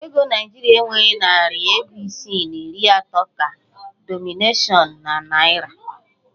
Ego naịjirịa enweghi narị ego isii na iri atọ ka dinọminashịon na naịra.